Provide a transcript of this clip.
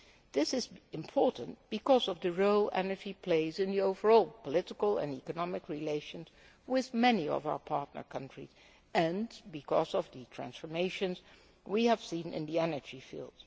This is important because of the role that energy plays in the overall political and economic relations with many of our partner countries, and because of the transformations we have seen in the energy field.